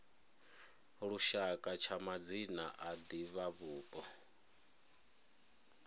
lushaka tsha madzina a divhavhupo